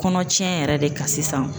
Kɔnɔ tiɲɛ yɛrɛ de kan sisan.